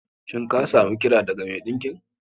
Shin ka sami kira daga mai ɗinkin?